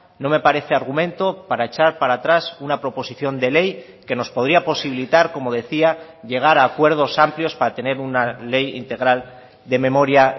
no me parece argumento para echar para atrás una proposición de ley que nos podría posibilitar como decía llegar a acuerdos amplios para tener una ley integral de memoria